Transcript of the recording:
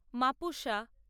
Mapusa